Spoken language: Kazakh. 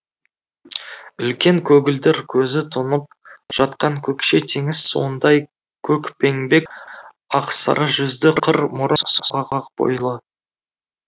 үлкен көгілдір көзі тұнып жатқан көкше теңіз суындай көкпеңбек ақсары жүзді қыр мұрын сұңғақ бойлы